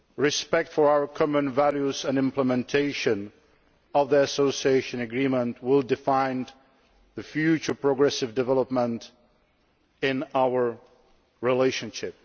Respect for our common values and implementation of the Association Agreement will define the future progressive development of our relationship.